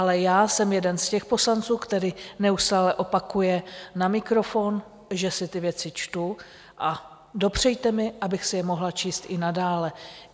Ale já jsem jeden z těch poslanců, který neustále opakuje na mikrofon, že si ty věci čtu, a dopřejte mi, abych si je mohla číst i nadále.